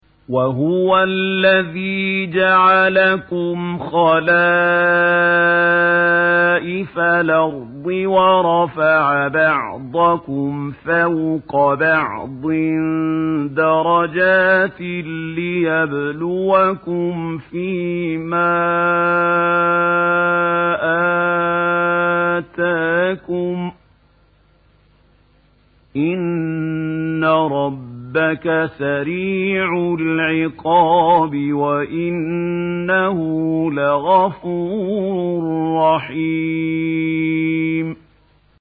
وَهُوَ الَّذِي جَعَلَكُمْ خَلَائِفَ الْأَرْضِ وَرَفَعَ بَعْضَكُمْ فَوْقَ بَعْضٍ دَرَجَاتٍ لِّيَبْلُوَكُمْ فِي مَا آتَاكُمْ ۗ إِنَّ رَبَّكَ سَرِيعُ الْعِقَابِ وَإِنَّهُ لَغَفُورٌ رَّحِيمٌ